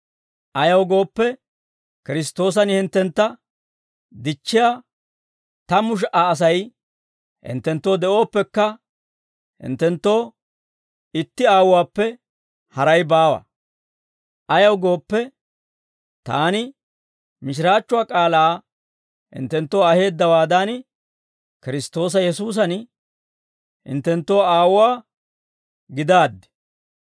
Ayaw gooppe, Kiristtoosan hinttentta dichchiyaa tammu sha"a Asay hinttenttoo de'ooppekka, hinttenttoo itti aawuwaappe haray baawa. Ayaw gooppe, taani mishiraachchuwaa k'aalaa hinttenttoo aheeddawaadan, Kiristtoosa Yesuusan hinttenttoo aawuwaa gidaaddi.